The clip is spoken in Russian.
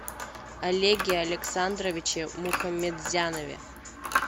олеге александровиче мухаметзянове